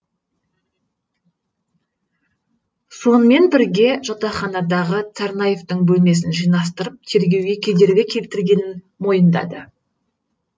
сонымен бірге жатақханадағы царнаевтың бөлмесін жинастырып тергеуге кедергі келтіргенін мойындады